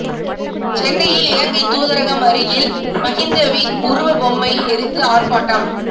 சென்னையில் இலங்கை தூதரகம் அருகில் மகிந்தவின் உருவ பொம்மை எரித்து ஆர்ப்பாட்டம்